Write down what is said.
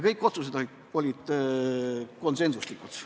Kõik otsused olid konsensuslikud.